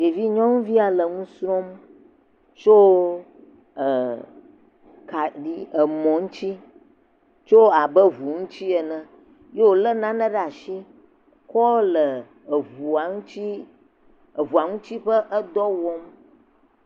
Ɖevi nyɔnuvi ya le nu srɔ̃m tso e kaɖi emɔ ŋutsi tso abe ŋu ŋutsi ene ye wo le nane ɖe asi kɔ le eŋua ŋuti eŋua ŋuti ƒe edɔ wɔm.